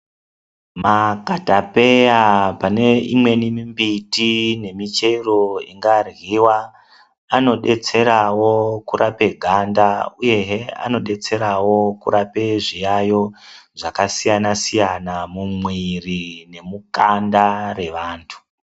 Makatapeya pane imweni mimbiti yemuchero ingaryiwa anodetserao kurape ganda uyehe anodetserao kurape zviyaiyo zvakasiyana siyana mumwiri nemukanda mwevanthu.